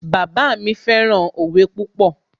Bàbá mi fẹ́ràn òwe púpọ̀